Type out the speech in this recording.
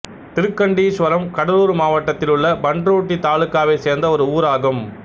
திருக்கண்டீஸ்வரம் கடலூர் மாவட்டத்திலுள்ள பண்ருட்டி தாலுகாவைச் சேர்ந்த ஒரு ஊராகும்